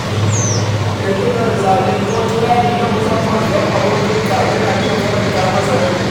Ƙirƙirar zane ko kirari na musamman don abokinka yana iya faranta masa rai.